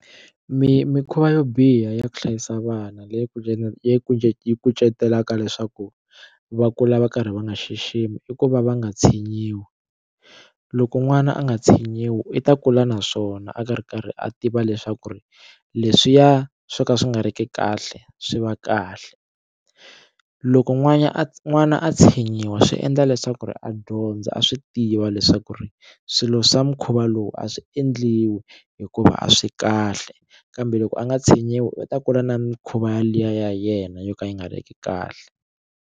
Mi mikhuva yo biha ya ku hlayisa vana leyi leyi leyi kucetelaka leswaku va kula va karhi va nga xiximi i ku va va nga tshinyiwi loko n'wana a nga tshinyiwi i ta kula naswona a karhi a karhi a tiva leswaku ri leswiya swo ka swi nga ri ki kahle swi va kahle loko n'wana a n'wana a tshinyiwa swi endla leswaku ri a dyondza a swi tiva leswaku ri swilo swa mukhuva lowu a swi endliwi hikuva a swi kahle kambe loko a nga tshinyiwi u ta kula na mikhuva yaliya ya yena yo ka yi nga ri ki kahle.